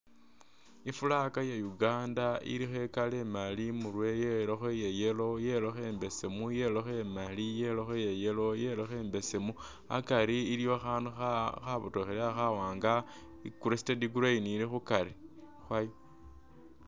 I'flag ya uganda ilikho i'color imali imurwe, yelakho iya yellow, yelakho imbesemu, yelakho imali, yelakho iya yellow, yelakho imbesemu, akari iliwo akhaandu khabotokhelele khawaanga, i'crested crane ili khukari khwayo.